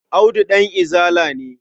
Audu ɗan Izala ne.